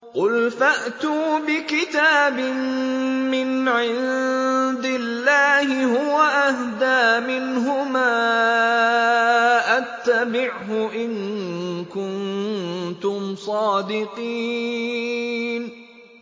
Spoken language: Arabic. قُلْ فَأْتُوا بِكِتَابٍ مِّنْ عِندِ اللَّهِ هُوَ أَهْدَىٰ مِنْهُمَا أَتَّبِعْهُ إِن كُنتُمْ صَادِقِينَ